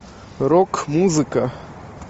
рок музыка